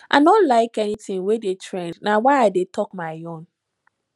i no like anything wey dey trend na why i dey talk my own